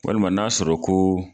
Walima n'a sɔrɔ ko